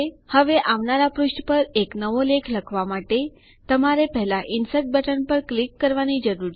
હવે આવનારા પુષ્ઠ પર એક નવો લેખ લખવા માટે તમારે પહેલા ઇન્સર્ટ બટન પર ક્લિક કરવાની જરૂર છે